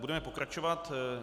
Budeme pokračovat.